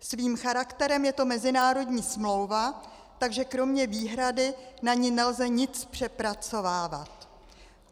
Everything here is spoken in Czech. Svým charakterem je to mezinárodní smlouva, takže kromě výhrady na ní nelze nic přepracovávat.